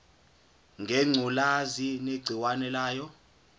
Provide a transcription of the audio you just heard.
ngengculazi negciwane layo